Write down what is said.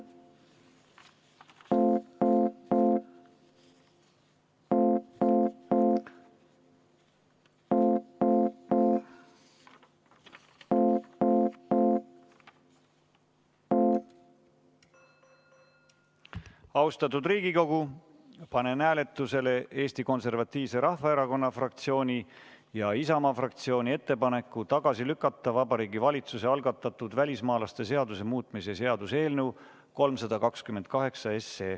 Austatud Riigikogu, panen hääletusele Eesti Konservatiivse Rahvaerakonna fraktsiooni ja Isamaa fraktsiooni ettepaneku tagasi lükata Vabariigi Valitsuse algatatud välismaalaste seaduse muutmise seaduse eelnõu 328.